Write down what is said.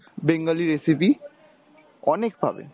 bengali recipe অনেক পাবে